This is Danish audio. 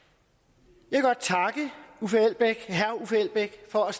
jeg vil godt takke herre uffe elbæk for at